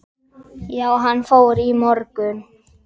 Já, hann fór í morgun